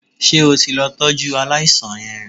Ṣé o ti lọ tọ́jú aláìsàn yẹn?